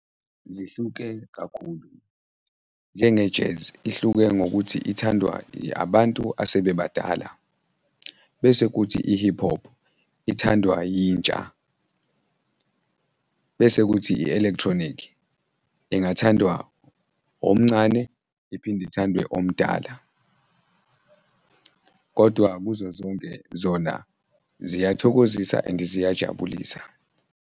Zihluke kakhulu, njenge-jazz, ihluke ngokuthi ithandwa abantu asebebadala bese kuthi i-hip hop ithandwa yintsha bese kuthi i-electronic-i ingathandwa omncane iphinde ithandwe omdala kodwa kuzo zonke zona ziyathokozisa and-i ziyajabulisa.